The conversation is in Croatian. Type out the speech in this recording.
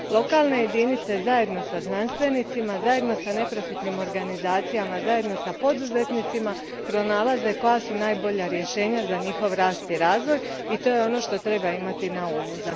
Lokalne jedinice, zajedno sa znanstvenicima, zajedno sa neprofitnim organizacijama, zajedno sa poduzetnicima pronalaze koja su najbolja rješenja za njihov rast i razvoj i to je ono što treba imati na umu.